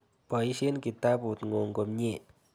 Poisyen kitaput ng'ung' komnye.